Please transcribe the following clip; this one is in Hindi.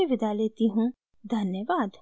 धन्यवाद